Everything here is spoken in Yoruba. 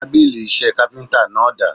Tábìlì iṣẹ́ káfíntà náà dà?